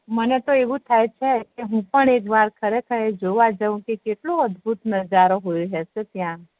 મને તો આવું થાય છે કે હુ પણ એકવાર